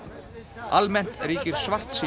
almennt ríkir svartsýni